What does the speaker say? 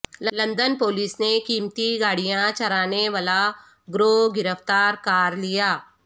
London police نے قیمتی گاڑیاں چرانے ولا گروہ گرفتار کار لیا